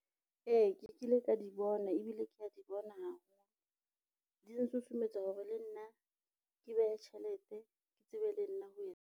Ee, ke kile ka di bona ebile ke a di bona haholo, di nsusumetsa hore le nna ke behe tjhelete ke tsebe le nna ho etsa.